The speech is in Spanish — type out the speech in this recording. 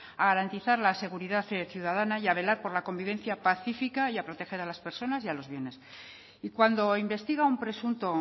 a garantizar la seguridad ciudadana y a velar por la convivencia pacífica y a proteger a las personas y a los bienes y cuando investiga un presunto